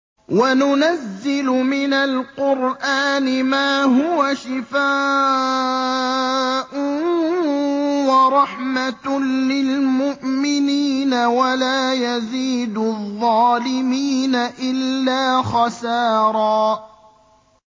وَنُنَزِّلُ مِنَ الْقُرْآنِ مَا هُوَ شِفَاءٌ وَرَحْمَةٌ لِّلْمُؤْمِنِينَ ۙ وَلَا يَزِيدُ الظَّالِمِينَ إِلَّا خَسَارًا